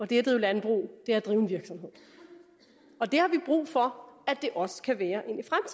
det at drive landbrug er at drive en virksomhed og det har vi brug for at det også kan være